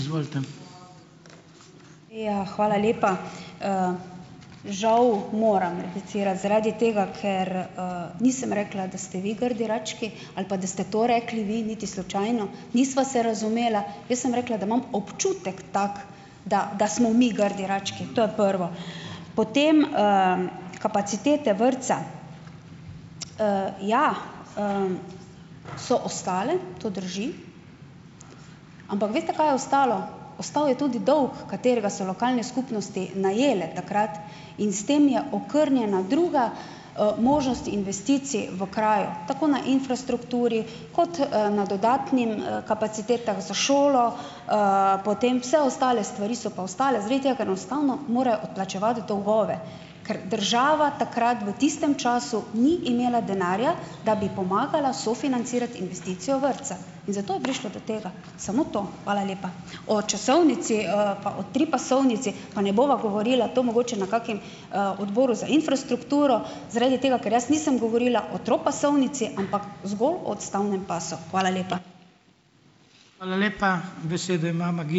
Ja, hvala lepa. Žal moram replicirati zaradi tega, ker, nisem rekla, da ste vi grdi rački ali pa, pa da ste to rekli vi, niti slučajno. Nisva se razumela. Jaz sem rekla, da imam občutek tako, da, da smo mi grdi rački, to je prvo. Potem, kapacitete vrtca. Ja, so ostale, to drži, ampak veste, kaj je ostalo? Ostal je tudi dolg, katerega so lokalne skupnosti najele takrat in s tem je okrnjena druga, možnost investicij v kraju, tako na infrastrukturi kot, na dodatnih, kapacitetah za šolo, potem vse ostale stvari so pa ostale, zaradi tega, ker enostavno morajo odplačevati dolgove, ker država takrat v tistem času ni imela denarja, da bi pomagala sofinancirati investicijo vrtca, in zato je prišlo do tega. Samo to, hvala lepa. O časovnici, pa o tripasovnici pa ne bova govorila. To mogoče na kakem, odboru za infrastrukturo, zaradi tega, ker jaz nisem govorila o tripasovnici, ampak zgolj o odstavnem pasu. Hvala lepa.